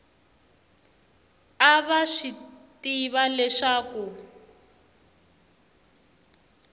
a va swi tiva leswaku